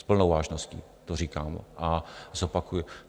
S plnou vážností to říkám a zopakuji.